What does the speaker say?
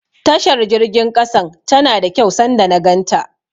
Tashar jirgin ƙasan tana da kyau sanda na ganta.